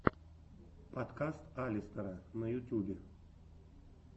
подкаст алистера на ютубе